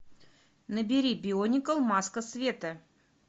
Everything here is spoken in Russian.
набери бионикл маска света